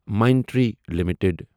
Mindtree limited